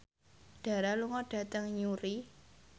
Dara lunga dhateng Newry